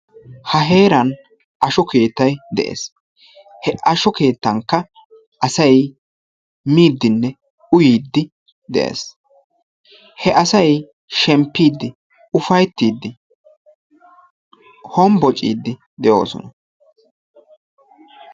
Ha heeran asho keettay de'ees. He asho keettankka asay miidinne uyyide de'ees. He asay shemppidi ufayttidi hombboccide de'oosona.